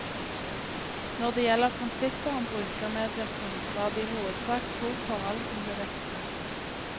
Når det gjelder prinsippet om brukermedvirkning var det i hovedsak to forhold som ble vektlagt.